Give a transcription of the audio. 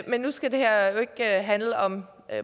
men nu skal det her jo ikke handle om